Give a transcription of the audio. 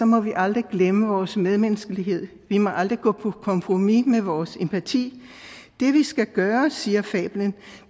må vi aldrig glemme vores medmenneskelighed vi må aldrig gå på kompromis med vores empati det vi skal gøre siger fablen